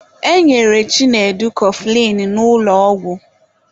E nyere Chinedu kọfụlịn n'ụlọ ọgwụ.